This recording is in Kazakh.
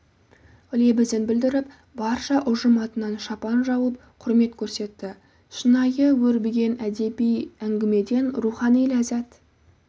лебізін білдіріп барша ұжым атынын шапан жауып құрмет көрсетті шынайы өрбіген әдеби әңгімеден рухани ләззат